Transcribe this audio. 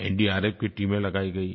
NDRF की टीमें लगाई गईं